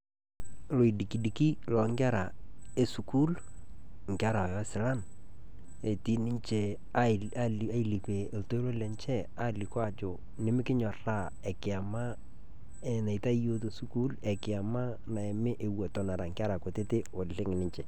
Loidikidiki lo nkerra e sukuul, nkerra osilan etii ninchee aluikee tuloorr lenchee alikoo ajoo nimikinyorraa enkiyamaa naitai yoo te sukuul, enkiyama naimii wuen eton nkerra nkutiti oleng ninchee.